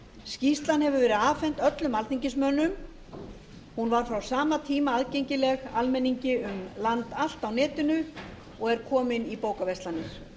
skýrslan hefur verið afhent öllum alþingismönnum hún var frá sama tíma aðgengileg almenningi um land allt á netinu og er komin í bókaverslanir